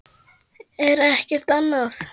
en ekkert annað.